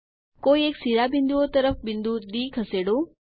કોઈ એક શિરોબિંદુઓ તરફ બિંદુ ડી ખસેડો